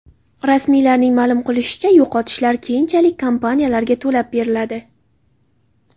Rasmiylarning ma’lum qilishicha, yo‘qotishlar keyinchalik kompaniyalarga to‘lab beriladi.